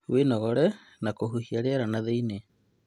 Wĩnogore na kũhihia rĩera nathĩiniĩ